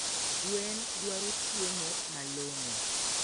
Gwen dwaro chiemo malongo